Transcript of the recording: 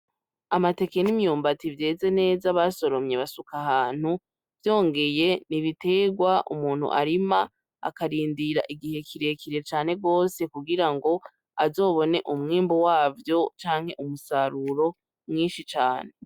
Amateke n'imyumbati vyeze neza basoromye basuka ahantu vyongeye n'ibitegwa umuntu arima akarindira igihe kirekire cane gose kugirango azobone umwimbu wavyo canke umusaruro mwishi cane